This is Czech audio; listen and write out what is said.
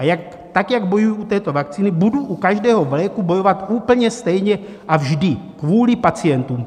A tak, jak bojuji u této vakcíny, budu u každého léku bojovat úplně stejně, a vždy kvůli pacientům.